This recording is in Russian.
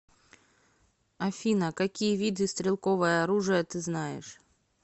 афина какие виды стрелковое оружие ты знаешь